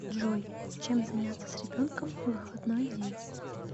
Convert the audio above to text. джой чем заняться с ребенком в выходной день